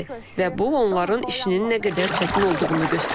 Və bu onların işinin nə qədər çətin olduğunu göstərir.